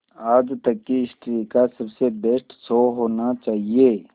आज तक की हिस्ट्री का सबसे बेस्ट शो होना चाहिए